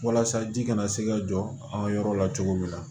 Walasa ji kana se ka jɔ an ka yɔrɔ la cogo min na